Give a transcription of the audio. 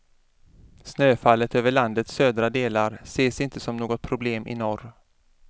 Snöfallet över landets södra delar ses inte som något problem i norr.